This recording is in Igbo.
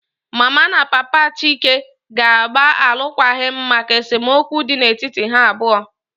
Mama na Papa Chike ga-agba alụkwaghịm maka esemokwu dị n'etiti ha abụọ